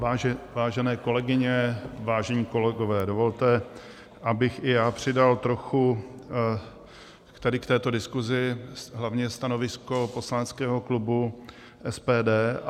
Vážené kolegyně, vážení kolegové, dovolte, abych i já přidal trochu k této diskusi, hlavně stanovisko poslaneckého klubu SPD.